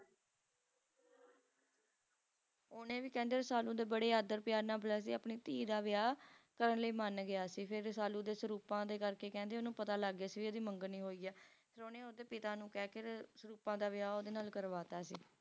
ਓਹਨੇ ਵੀ ਕਹਿੰਦੇ Rasalu ਦੇ ਬੜੇ ਆਦਰ ਪਿਆਰ ਨਾਲ ਬੁਲਾਏ ਤੇ ਆਪਣੀ ਧੀ ਦਾ ਵਿਆਹ ਕਰਨ ਲਈ ਮੰਨ ਗਿਆ ਸੀ ਫੇਰ Rasalu ਦੇ ਸਰੂਪਾਂ ਦੇ ਕਰਕੇ ਕਹਿੰਦੇ ਉਹਨੂੰ ਪਤਾ ਲੱਗ ਗਿਆ ਸੀ ਇਹਦੀ ਮੰਗਣੀ ਹੋਈ ਆ ਫੇਰ ਉਹਨੇ ਓਹਦੇ ਪਿਤਾ ਨੂੰ ਕਹਿਕੇ ਸਰੂਪਾ ਦਾ ਵਿਆਹ ਓਹਦੇ ਨਾਲ ਕਰਵਾਤਾ ਸੀ